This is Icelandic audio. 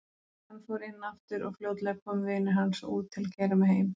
Hann fór inn aftur og fljótlega komu vinir hans út til að keyra mig heim.